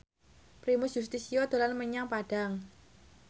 Primus Yustisio dolan menyang Padang